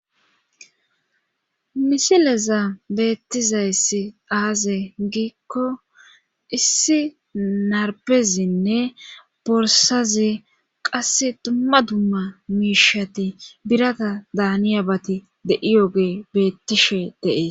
Misileza beettizayssi aaze giikko issi narpezinne borsazi qasse dumma dumma miishati birata daaniya bati de'iyoge beettishe deees.